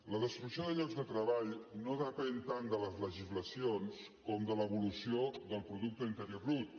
la destrucció de llocs de treball no depèn tant de les legislacions com de l’evolució del producte interior brut